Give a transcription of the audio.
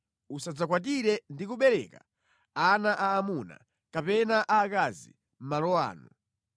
“Usadzakwatire ndi kubereka ana aamuna kapena aakazi malo ano